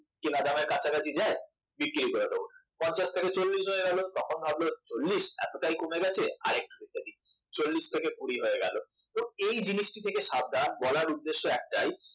কেনা দামের কাছাকাছি হ্যাঁ বিক্রি করে দেবো পঞ্চাশ থেকে চল্লিশ হয়ে গেল তখন ভাবল চল্লিশ এতটাই কমে গেছে আর একটু রেখে দিই চল্লিশ থেকে কুড়ি হয়ে গেল তো এই জিনিসটা থেকে সাবধান বলার উদ্দেশ্য একটাই